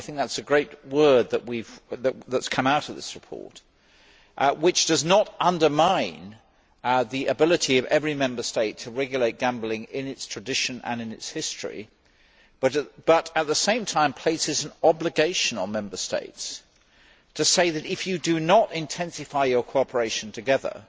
I think that is a great word that has come out of this report, which does not undermine the ability of every Member State to regulate gambling in its tradition and in its history, but at the same time places an obligation on Member States to say that if you do not intensify your cooperation together,